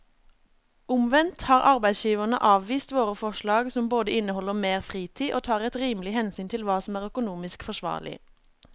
Omvendt har arbeidsgiverne avvist våre forslag som både inneholder mer fritid og tar et rimelig hensyn til hva som er økonomisk forsvarlig.